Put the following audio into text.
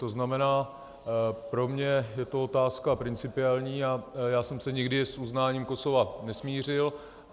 To znamená, pro mě je to otázka principiální a já jsem se nikdy s uznáním Kosova nesmířil.